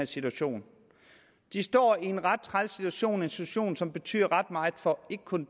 situation de står i en ret træls situation en situation som betyder ret meget for